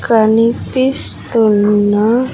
కనిపిస్తున్న--